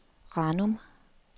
Ranum